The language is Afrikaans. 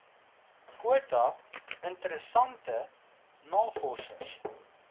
kwota interessante navorsers